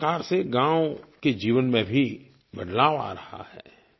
देखिए किस प्रकार से गाँव के जीवन में भी बदलाव आ रहा है